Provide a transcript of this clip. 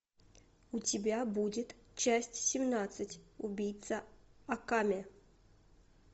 у тебя будет часть семнадцать убийца акаме